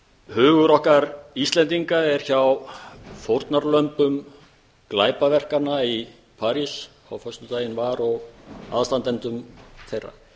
hugur okkar íslendinga er hjá fórnarlömbum glæpaverkanna í parís á föstudaginn var og aðstandendum þeirra